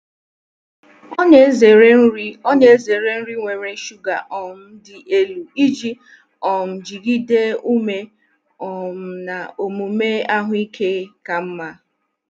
Ọ na-ezere nri Ọ na-ezere nri nwere shuga um dị elu iji um jigide ume um na omume ahụike ka mma.